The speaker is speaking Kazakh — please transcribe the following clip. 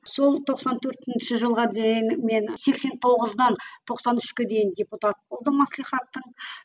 сол тоқсан төртінші жылға дейін мен сексен тоғыздан тоқсан үшке дейін депутат болдым маслихаттың